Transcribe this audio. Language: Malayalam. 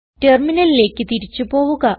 ടെർമിനലിലേക്ക് തിരിച്ച് പോവുക